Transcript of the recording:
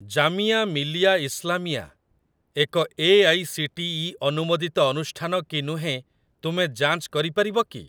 ଜାମିଆ ମିଲିଆ ଇସ୍ଲାମିଆ ଏକ ଏଆଇସିଟିଇ ଅନୁମୋଦିତ ଅନୁଷ୍ଠାନ କି ନୁହେଁ ତୁମେ ଯାଞ୍ଚ କରିପାରିବ କି?